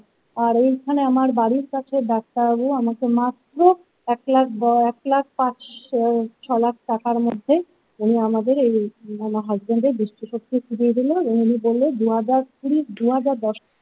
আর এইখানে আমার বাড়ির কাছে ডাক্তারবাবু আমাকে মাত্র এক লাখ এক লাখ পাঁচ ছ লাখ টাকার মধ্যে উনি আমাদের এই আমার হাসবেন্ডএর দৃষ্টি ফিরিয়ে দিলেন উনি বললেন দু হাজার কুড়ি দু হাজার দশ।